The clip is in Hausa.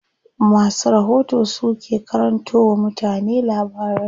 Masu rahoto su ke karanto wa mutane labarai.